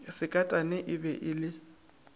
sekatane e be e le